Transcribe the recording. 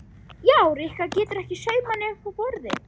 Já, Rikka getur ekki saumað nema uppi á borði